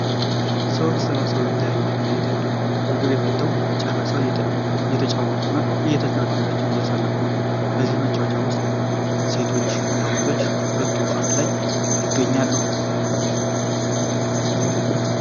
ሰዎች ተሰብስበው የተለያዩ መጠጦችን እየጠጡ ነዉ። ምግብም በልተዉ ጨርሰዋል። እየተጫወቱ እና እየተዝናኑ ጊዜያቸዉን እያሳለፉ ነው። በዚህ ጨዋታ ዉሰጥ ሴቶች እና ወንዶች ሁሉም በአንድ ላይ ይገኙበታል።